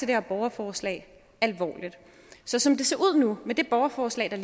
her borgerforslag alvorligt så som det ser ud nu med det borgerforslag der